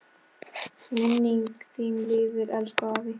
Minning þín lifir, elsku afi.